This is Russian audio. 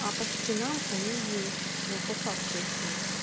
а по скринам они есть но по факту их нет